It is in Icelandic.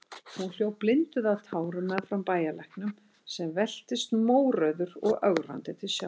Hún hljóp blinduð af tárum meðfram bæjarlæknum, sem veltist mórauður og ögrandi til sjávar.